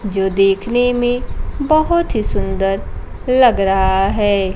जो देखने में बहोत ही सुंदर लग रहा है।